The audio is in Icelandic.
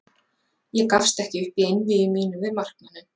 Ég gafst ekki upp í einvígi mínu við markmanninn.